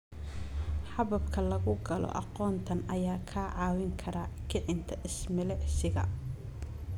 Hababka lagu galo aqoontan ayaa kaa caawin kara kicinta is-milicsiga.